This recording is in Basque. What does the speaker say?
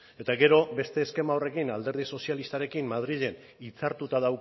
eta gero beste eskema horrekin alderdi sozialistarekin madrilen hitzartuta